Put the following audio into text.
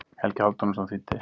Helgi Hálfdanarson þýddi.